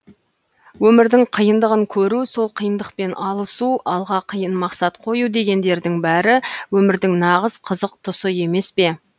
өмірдің қиындығын көру сол қиындықпен алысу алға қиын мақсат қою дегендердің бәрі өмірдің нағыз қызық тұсы емес пе